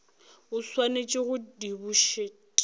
o swanetše go di bušet